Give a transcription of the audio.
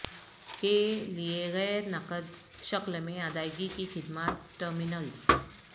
کے لئے غیر نقد شکل میں ادائیگی کی خدمات ٹرمینلز